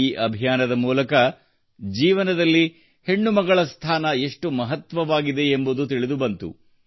ಈ ಅಭಿಯಾನದ ಮೂಲಕ ಜೀವನದಲ್ಲಿ ಹೆಣ್ಣು ಮಗಳ ಸ್ಥಾನ ಎಷ್ಟು ಮಹತ್ವವಾಗಿದೆ ಎಂಬುದು ತಿಳಿದುಬಂತು